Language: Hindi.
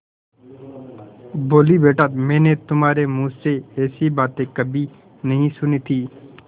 बोलीबेटा मैंने तुम्हारे मुँह से ऐसी बातें कभी नहीं सुनी थीं